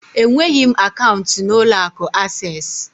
Enweghị m akaụntụ n'ụlọ akụ Asés